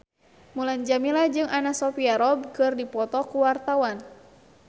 Mulan Jameela jeung Anna Sophia Robb keur dipoto ku wartawan